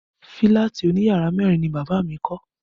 Fílàtì òní yàrá mẹ́rin ni bàbá mi kọ́